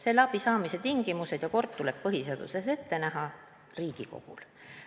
Selle abi saamise tingimused ja kord tuleb põhiseaduse järgi ette näha Riigikogul.